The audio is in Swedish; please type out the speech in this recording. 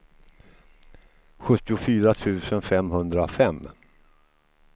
sjuttiofyra tusen femhundrafem